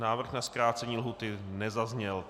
Návrh na zkrácení lhůty nezazněl.